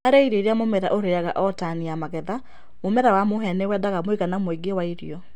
Harĩ irio iria mũmera ũrĩaga o tani ya magetha, mũmera wa mũhĩa nĩwendaga mũigana mũingĩ wa irio.